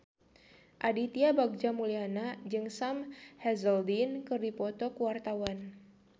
Aditya Bagja Mulyana jeung Sam Hazeldine keur dipoto ku wartawan